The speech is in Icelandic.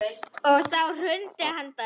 Og þá hrundi hann bara.